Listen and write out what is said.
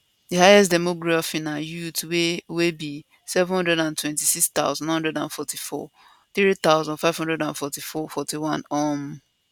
di highest demography na youths wey wey be 726944 3541 um